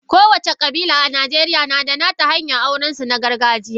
Kowace kabila a Najeriya na da nata hanyar aurensu na gargajiya.